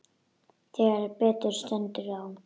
Þegar betur stendur á